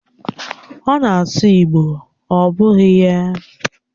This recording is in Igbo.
Ọ na-asụ igbo, ọ bụghị ya?